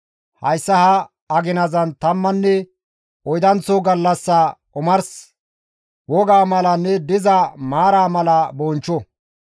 hayssa ha aginazan tammanne oydanththo gallassa omars wogaa malanne diza maaraa mala bonchcho.»